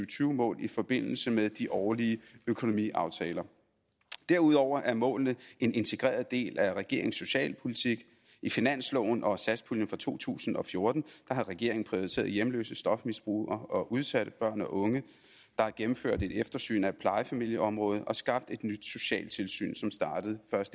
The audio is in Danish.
tyve mål i forbindelse med de årlige økonomiaftaler derudover er målene en integreret del af regeringens socialpolitik i finansloven og satspuljen for to tusind og fjorten har regeringen prioriteret hjemløse stofmisbrugere og udsatte børn og unge der er gennemført et eftersyn af plejefamilieområdet og skabt et nyt socialt tilsyn som startede